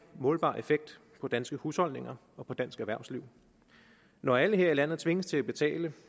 målbar effekt på danske husholdninger og på dansk erhvervsliv når alle her i landet tvinges til at betale